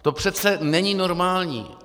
To přece není normální.